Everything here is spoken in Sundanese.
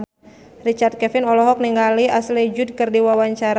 Richard Kevin olohok ningali Ashley Judd keur diwawancara